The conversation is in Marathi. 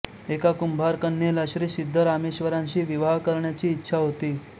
एका कुंभारकन्येला श्री सिध्दरामेश्वरांशी विवाह करायची इच्छा होती